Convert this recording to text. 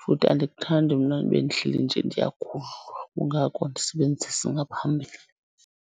futhi andikuthandi mna ube ndihleli nje ndiyagudlwa. Kungako ndisebenzisa ngaphambili.